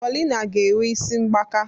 Paulina ga-enwe isi mgbaka.